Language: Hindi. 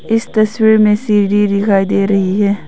इस तस्वीर में सीढ़ी दिखाई दे रही है।